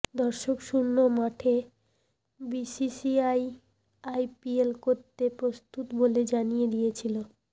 দর্শকশূন্য মাঠে BCCI IPL করতে প্রস্তুত বলে জানিয়ে দিয়েছিল